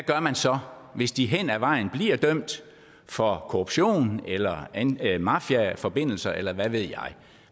gør man så hvis de hen ad vejen bliver dømt for korruption eller at have mafiaforbindelser eller hvad ved jeg